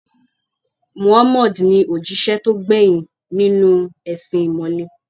Muhammad ni òjíṣẹ́ tó gbẹ̀yìn nínú u ẹ̀sìn ìmọ̀le